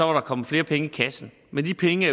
var der kommet flere penge i kassen men de penge